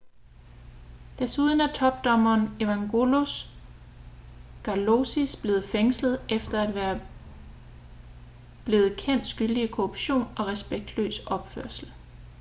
desuden er topdommeren evangelos kalousis blevet fængslet efter at være blevet kendt skyldig i korruption og respektløs opførsel